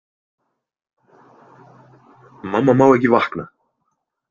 Mamma má ekki vakna!